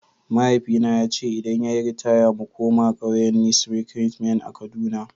Mahaifina ya ce idan ya yi ritaya mu koma kauyen Nissi Rerement a kaduna.